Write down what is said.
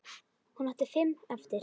Hún átti fimm eftir.